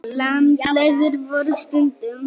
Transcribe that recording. Landlegur voru stundum.